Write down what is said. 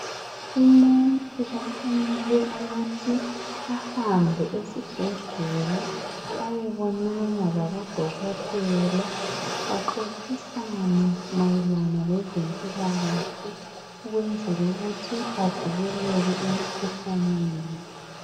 Umuntu kumele ukuthi ahambe esibhedlela ayebonana labo dokotela baxoxisane mayelana lezempilakahle ukwenzela ukuthi avikeleke emikhuhlaneni.